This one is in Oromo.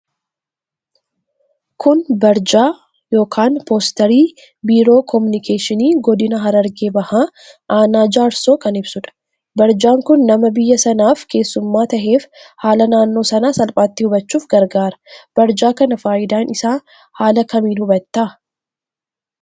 Kun barjaa (postery) biiroo kominikeeshinii godina harargee baha aanaa jaarsoo kan ibsuudha. Barjaan kun nama biyya sanaaf keessumma taheef haala naannoo sanaa salphaatti hubachuuf gargaara. Barjaa kana faayidaa isaa haala kamin hubata?